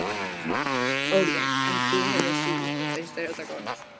Óli: En þú hefur þú, finnst þér þetta gott?